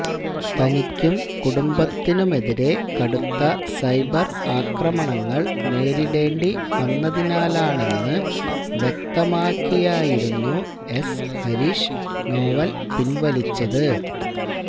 തനിക്കും കുടുംബത്തിനുമെതിരെ കടുത്ത സൈബര് അക്രമങ്ങള് നേരിടേണ്ടി വന്നതിനാലാണെന്ന് വ്യക്തമാക്കിയായിരുന്നു എസ് ഹരീഷ് നോവല് പിന്വലിച്ചത്